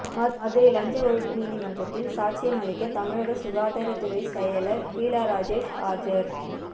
மதுரை லஞ்ச ஒழிப்பு நீதிமன்றத்தில் சாட்சியம் அளிக்க தமிழக சுகாதாரத்துறை செயலா் பீலாராஜேஷ் ஆஜா்